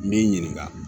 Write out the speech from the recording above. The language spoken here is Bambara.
N bɛ n ɲininka